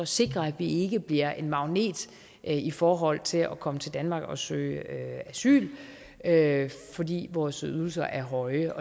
sikre at vi ikke bliver en magnet i forhold til at komme til danmark og søge asyl asyl fordi vores ydelser er høje